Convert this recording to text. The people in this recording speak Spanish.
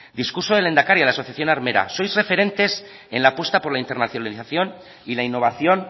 discurso del lehendakari a la asociación armera sois referentes en la apuesta por la internacionalización y la innovación